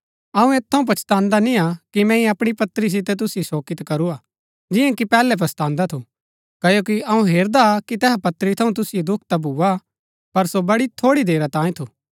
अऊँ ऐत थऊँ पछतान्दा निय्आ कि मैंई अपणी पत्री सितै तुसिओ शोकित करूआ जियां कि पैहलै पछतान्दा थू क्ओकि अऊँ हेरदा कि तैहा पत्री थऊँ तुसिओ दुख ता भूआ पर सो बड़ी थोड़ी देरा तांयें थू